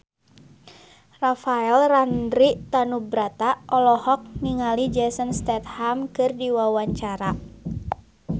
Rafael Landry Tanubrata olohok ningali Jason Statham keur diwawancara